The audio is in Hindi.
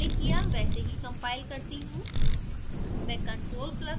जैसा हमने पहले किया वैसे ही compile करती हूँ